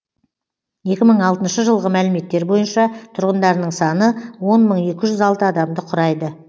екі мың алтыншы жылғы мәліметтер бойынша тұрғындарының саны он мың екі жүз алты адамды құрайды